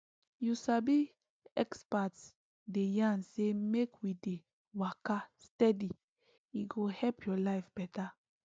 you sabi experts dey yarn say make we dey waka steady e go help your life better